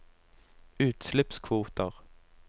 utslippskvoter